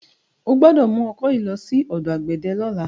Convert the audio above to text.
O gbọ́dọ̀ mú ọkọ yìí lọ sí ọ̀dọ̀ àgbẹ̀dẹ lọ́la.